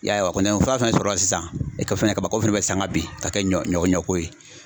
Y'a ye wa, kɔni fura fɛnɛ sɔrɔla sisan kaba ko fɛnɛ bɛ sanga bin ka kɛ ɲɔ ko ye.